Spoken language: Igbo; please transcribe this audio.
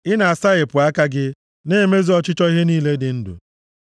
I na-asaghepụ aka gị na-emezu ọchịchọ ihe niile dị ndụ.